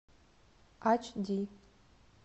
ач ди